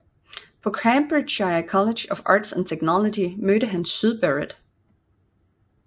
På Cambridgeshire College of Arts and Technology mødte han Syd Barrett